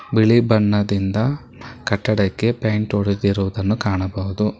ಬಿಳಿ ಬಣ್ಣದಿಂದ ಕಟ್ಟಡಕ್ಕೆ ಪೇಂಟ್ ಹೊಡೆದಿರುವುದನ್ನು ಕಾಣಬಹುದು.